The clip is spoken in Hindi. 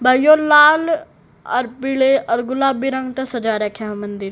भाइयों लाल और पीले और गुलाबी रंग का सजा रखा है मंदिर।